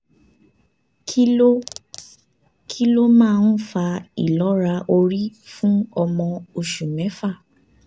kí ló kí ló máa ń fa ìlọ́ra orí fún ọmọ oṣù mẹ́fà?